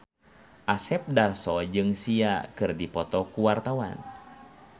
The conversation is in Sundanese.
Asep Darso jeung Sia keur dipoto ku wartawan